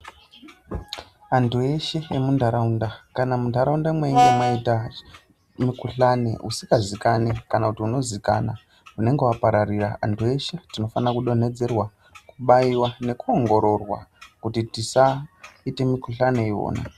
Antu eshe emuntaraunda kana muntaraunda mweinge mwaita mukhuhlani usikazikani kana unozikana unenge wapararira. Antu eshe tinofanirwa kudonhedzerwa kubaiwa nekuongororwa kuti tisaite mukhuhlani iwona.